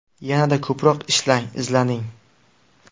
Yanada ko‘proq ishlang, izlaning.